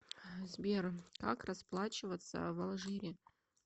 сбер как расплачиваться в алжире